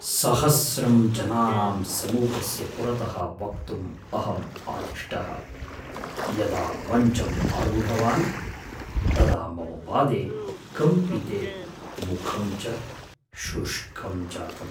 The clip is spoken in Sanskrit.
सहस्रं जनानां समूहस्य पुरतः वक्तुम् अहं आदिष्टः। यदा मञ्चम् आरूढवान् तदा मम पादे कम्पिते, मुखं च शुष्कं जातम्।